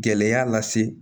Gɛlɛya lase